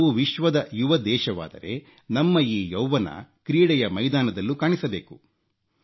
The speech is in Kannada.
ನಾವು ವಿಶ್ವದ ಯುವ ದೇಶವಾದರೆ ನಮ್ಮ ಈ ಯೌವ್ವನ ಕ್ರೀಡೆಯ ಮೈದಾನದಲ್ಲೂ ಕಾಣಿಸಬೇಕು